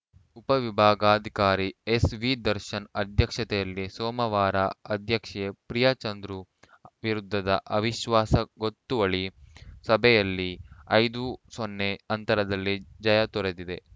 ಉಪವಿಭಾಗಾಧಿಕಾರಿ ಎಸ್ ವಿದರ್ಶನ್‌ ಅಧ್ಯಕ್ಷತೆಯಲ್ಲಿ ಸೋಮವಾರ ಅಧ್ಯಕ್ಷೆ ಪ್ರಿಯಾ ಚಂದ್ರು ವಿರುದ್ಧದ ಅವಿಶ್ವಾಸ ಗೊತ್ತುವಳಿ ಸಭೆಯಲ್ಲಿ ಐದು ಸೊನ್ನೆ ಅಂತರದಲ್ಲಿ ಜಯ ದೊರೆತಿದೆ